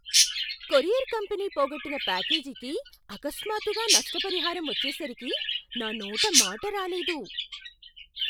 Courier company పోగొట్టిన ప్యాకేజీకి అకస్మాత్తుగా నష్టపరిహారం వచ్చేసరికి నా నోట మాట రాలేదు.